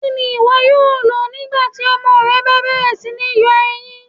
Kíni iwó̩ yóò lọ̀ nígbàtí ọmọ rẹ̀ bá bẹ̀rẹ̀ sí ní yọ èyíń?